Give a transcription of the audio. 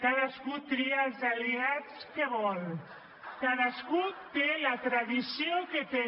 cadascú tria els aliats que vol cadascú té la tradició que té